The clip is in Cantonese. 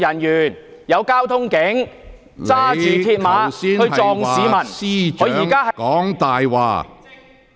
有交通警員在葵涌駕駛電單車撞向市民，而他現在......